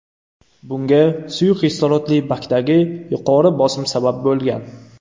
Bunga suyuq kislorodli bakdagi yuqori bosim sabab bo‘lgan.